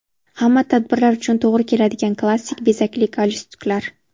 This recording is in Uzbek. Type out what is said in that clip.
Hamma tadbirlar uchun to‘g‘ri keladigan klassik bezakli galstuklar.